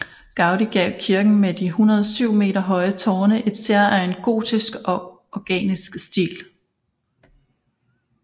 Gaudí gav kirken med de 107 meter høje tårne en særegen gotisk og organisk stil